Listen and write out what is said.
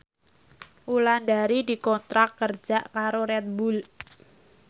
Wulandari dikontrak kerja karo Red Bull